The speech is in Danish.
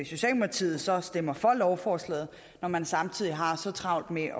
socialdemokratiet så stemmer for lovforslaget når man samtidig har så travlt med